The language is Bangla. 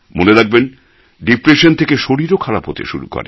মনে রাখবেন ডিপ্রেশন থেকে শরীরও খারাপ হতে শুরু করে